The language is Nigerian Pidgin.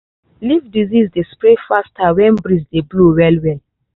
leaf disease dey spread faster when breeze dey blow well well.